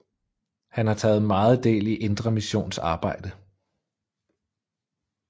Han har taget meget del i Indre Missions arbejde